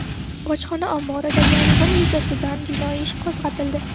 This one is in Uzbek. Bojxona omboridagi yong‘in yuzasidan jinoiy ish qo‘zg‘atildi.